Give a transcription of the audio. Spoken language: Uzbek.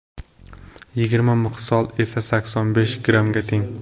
Yigirma misqol esa sakson besh grammga teng.